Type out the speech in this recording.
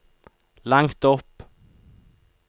langt opp